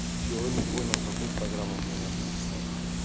чего не понял какую программу мне надо написать